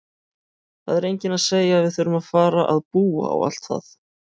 Það er enginn að segja að við þurfum að fara að búa og allt það!